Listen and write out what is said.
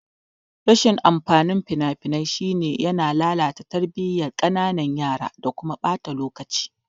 Rashin amfanin fina-finai shine yana lalata tarbiyan kananan yara da kuma ɓata lokaci.